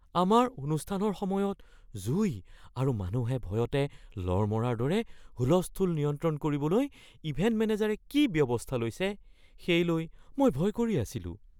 আমাৰ অনুষ্ঠানৰ সময়ত জুই আৰু মানুহে ভয়তে লৰ মৰাৰ দৰে হুলস্থুল নিয়ন্ত্ৰণ কৰিবলৈ ইভেণ্ট মেনেজাৰে কি ব্যৱস্থা লৈছে সেই লৈ মই ভয় কৰি আছিলোঁ।